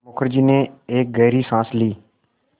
मुखर्जी ने एक गहरी साँस ली